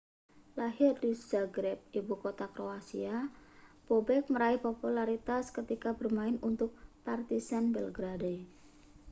lahir di zagreb ibukota kroasia bobek meraih popularitas ketika bermain untuk partizan belgrade